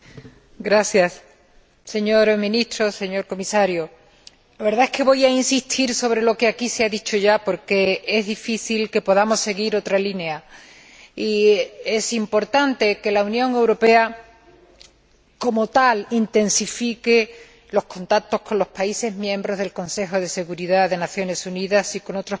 Señor Ministro, señor Comisario, la verdad es que voy a insistir sobre lo que aquí se ha dicho ya, porque es difícil que podamos seguir otra línea y es importante que la Unión Europea, como tal, intensifique los contactos con los países miembros del Consejo de Seguridad de las Naciones Unidas y con otros países emergentes,